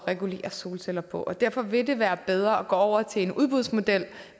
regulere solceller på derfor vil det være bedre at gå over til en udbudsmodel